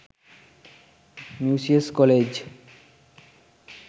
musaeus college